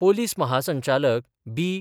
Police महासंचालक बि.